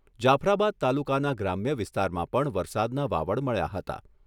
જાફરાબાદ તાલુકાના ગ્રામ્ય વિસ્તારમાં પણ વરસાદના વાવડ મળ્યા હતા.